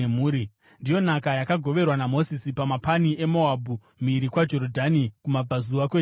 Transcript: Ndiyo nhaka yakagoverwa naMozisi pamapani eMoabhu, mhiri kwaJorodhani, kumabvazuva kweJeriko.